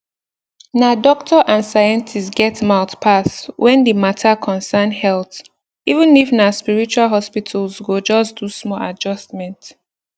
na doctor and scientist get mouth pass when the mata concern health even if na spiritual hospitals go just do small adjustment